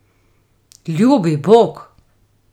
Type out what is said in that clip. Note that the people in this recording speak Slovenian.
Ljubi bog!